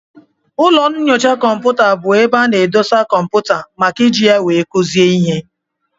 Ụlọ nnyocha kọmputa bụ ebe ana edosa kọmputa màkà iji ya wee kuzie ihe.